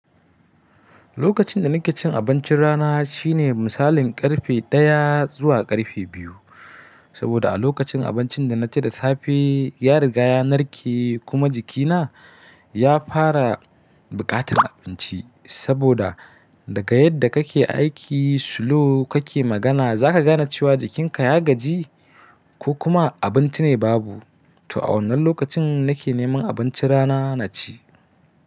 Lokacin da nake cin abincin rana shine misalin karfe ɗaya zuwa karfe biyu. Saboda a lokacin abincin da na ci da safe ya riga ya narke kuma jikina ya fara buƙatar abinci. Saboda daga yadda kake aiki slow kake magana zaka gane cewa jikinka ya gaji ko kuma abinci ne babu. To a wannan lokacin nake neman abincin rana na ci.